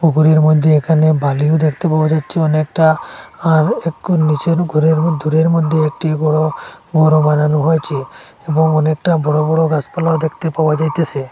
ঘরের মধ্যে এখানে বালিও দেখতে পাওয়া যাচ্ছে অনেকটা আর এক্কু নীচের উপরের দূরের মধ্যে একটি বড় ঘরও বানানো হয়েছে এবং অনেকটা বড় বড় গাসপালাও দেখতে পাওয়া যাইতেসে।